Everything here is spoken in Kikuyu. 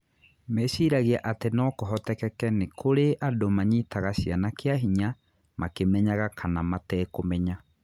Meciragia atĩ no kũhoteke nĩ kũrĩ andũ manyitaga ciana kĩa hinya makimenyaga kana kana matekũmenya.